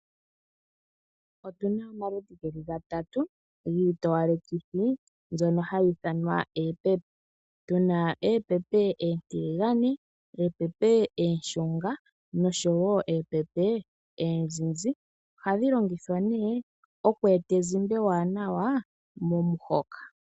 Otuna omaludhi geli gatatu giitowalekithi mbyono hayi ithanwa eepepe tuna eepepe oontiligane, oonshunga noozizi ohadhi longithwa oku eta ezimba ewanawa momu hoka.